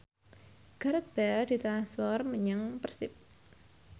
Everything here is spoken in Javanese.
Gareth Bale ditransfer menyang Persib